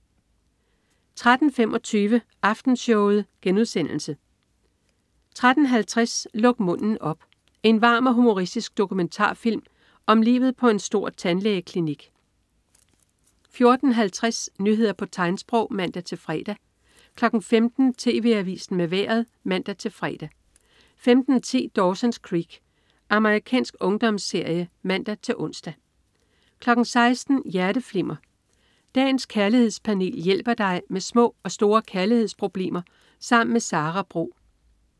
13.25 Aftenshowet* 13.50 Luk munden op. En varm og humoristisk dokumentarfilm om livet på en stor tandlægeklinik 14.50 Nyheder på tegnsprog (man-fre) 15.00 TV Avisen med Vejret (man-fre) 15.10 Dawson's Creek. Amerikansk ungdomsserie (man-ons) 16.00 Hjerteflimmer. Dagens kærlighedspanel hjælper dig med små og store kærlighedsproblemer sammen med Sara Bro